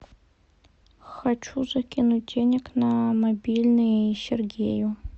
хочу закинуть денег на мобильный сергею